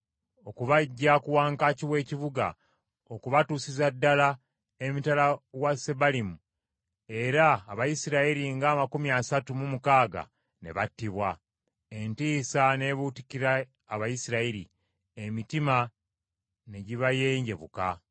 okubaggya ku wankaaki w’ekibuga okubatuusiza ddala emitala wa Sebalimu era Abayisirayiri ng’amakumi asatu mu mukaaga ne battibwa. Entiisa ne buutikira Abayisirayiri; emitima ne gibayenjebuka.